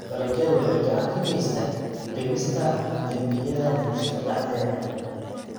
Dalagyadu waxay gacan ka geystaan ??dhimista dembiyada bulshada dhexdeeda.